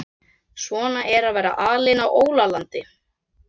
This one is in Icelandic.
Svona er að vera alinn á ólandi.